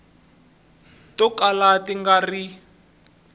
to kala ti nga ri